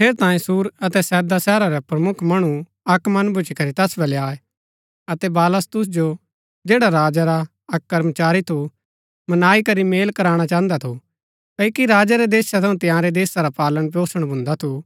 ठेरैतांये सूर अतै सैदा शहरा रै प्रमुख मणु अक्क मन भूच्ची करी तैस वलै आये अतै बलास्तुस जो जैडा राजा रा अक्क कर्मचारी थु मनाई करी मेल कराणा चाहन्दा थू क्ओकि राजा रै देशा थऊँ तिआंरै देशा रा पालन पोषण भुन्दा थु